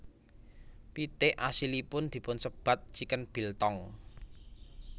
Pitik asilipun dipunsebat chicken biltong